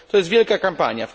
To jest wielka kampania.